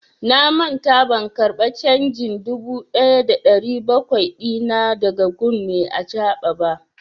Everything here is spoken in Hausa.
Na manta ban karba canjin dubu ɗaya da ɗari bakwai dina da ga gun mai acaɓa ba.